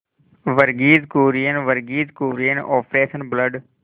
Verghese Kurien Verghese Kurien operation blood